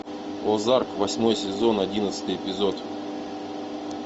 озарк восьмой сезон одиннадцатый эпизод